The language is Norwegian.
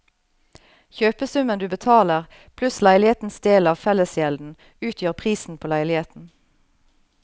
Kjøpesummen du betaler pluss leilighetens del av fellesgjelden utgjør prisen på leiligheten.